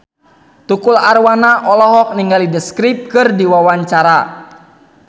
Tukul Arwana olohok ningali The Script keur diwawancara